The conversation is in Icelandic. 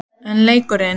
En leikurinn?